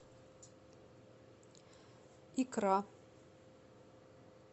икра